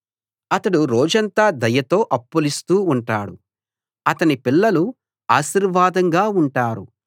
అతడు రోజంతా దయతో అప్పులిస్తూ ఉంటాడు అతని పిల్లలు ఆశీర్వాదంగా ఉంటారు